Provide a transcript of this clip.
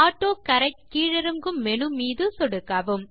autocorrect கீழிறங்கும் menu மீது சொடுக்கவும்